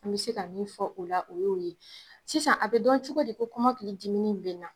An bɛ se ka min fɔ o la o ye'o ye, sisan a bɛ dɔn cogodi ko kɔmɔkili a ki dimini bɛ na.